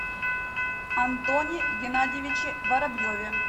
антоне геннадьевиче воробьеве